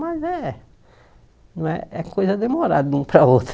Mas é não é é coisa demorada de um para o outro.